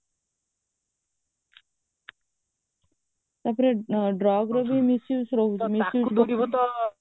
ଉପରେ drugର ବି misuse ରହୁଛି ତା ତାକୁ ଦେଖି କରି ତ